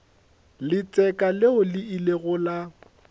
letseka leo le ilego la